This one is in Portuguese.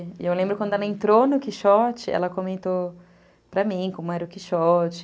E eu lembro quando ela entrou no Quixote, ela comentou para mim como era o Quixote.